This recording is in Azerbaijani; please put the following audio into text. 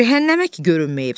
Cəhənnəmə ki görünməyib.